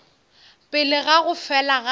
pele ga go fela ga